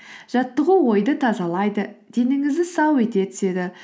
жаттығу ойды тазалайды денеңізді сау ете түседі